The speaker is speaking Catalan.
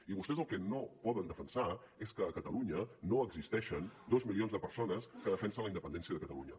i vostès el que no poden defensar és que a catalunya no existeixen dos milions de persones que defensen la independència de catalunya